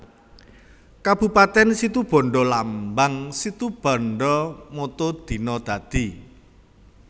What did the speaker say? Kabupatèn SitubandaLambang SitubandaMotto Dina Dadi